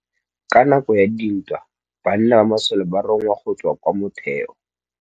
Ka nakô ya dintwa banna ba masole ba rongwa go tswa kwa mothêô.